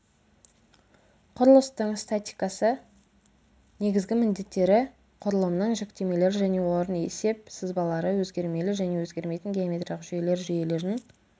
құрылыстың статикасы негізгі міндеттері құрылымның жүктемелері және олардың есеп сызбалары өзгермелі және өзгермейтін геометриялық жүйелер жүйелердің